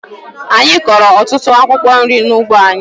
Anyị kụrụ otutụ akwụkwo nri n'ugbo anyị.